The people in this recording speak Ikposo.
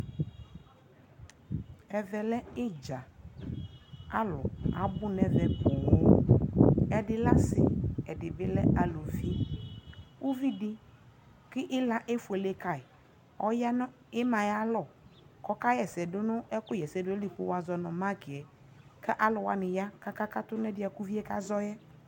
ɛvɛ lɛ itdza, alʋ abʋ nʋ ɛvɛ pɔɔm, ɛdilɛasii kʋɛdibi lɛ alʋvi, ʋvidi kʋila ɛƒʋɛlɛ kayi ɔya nʋ ɛmaɛ ayialɔ kɔ ɔka yɛsɛ dʋnʋ ɛkʋ yɛsɛ dʋnʋ ali kʋ wazɔnʋ micɛ kaalu wani ya kʋ akakatʋ nʋɛdiɛ kʋ ʋviɛ kazɔɛ